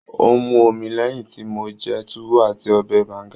Ó ń mu omi lẹ́yìn tí mo jẹ Tuwo àti ọbẹ̀ Banga